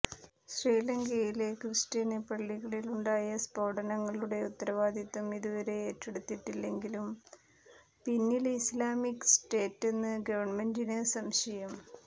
ശ്രീലങ്കയിലെ ക്രിസ്ത്യന് പള്ളികളിലുണ്ടായ സ്ഫോടനങ്ങളുടെ ഉത്തരവാദിത്തം ഇതുവരെ ഏറ്റെടുത്തിട്ടില്ലെങ്കിലും പിന്നില് ഇസ്ലാമിക് സ്റ്റേറ്റെന്ന് ഗവണ്മെന്റിന് സംശയം